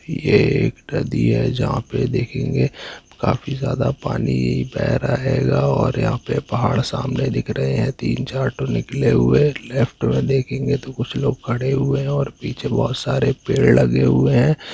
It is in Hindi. ये एक नदी है जहा पे दिख रहा हैकाफी ज्यादा पानी बेह रहा है और यहा पे पहाड़ सामने दिख रहे है तीन चार लेफ्ट में देखेंगे तो कुछ लोग खड़े हुए है और पीछे बहोत सारे पेड़ लगे हुएँ है।